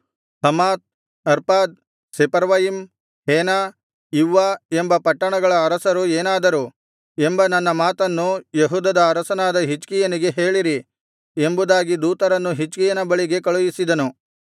Hamath Arpad Sepharvaim Hena Ivvah ಎಂಬ ಪಟ್ಟಣಗಳ ಅರಸರು ಏನಾದರು ಎಂಬ ನನ್ನ ಮಾತನ್ನು ಯೆಹೂದದ ಅರಸನಾದ ಹಿಜ್ಕೀಯನಿಗೆ ಹೇಳಿರಿ ಎಂಬುದಾಗಿ ದೂತರನ್ನು ಹಿಜ್ಕೀಯನ ಬಳಿಗೆ ಕಳುಹಿಸಿದನು